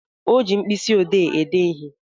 O ji mkpịsị ọdee ede ihe?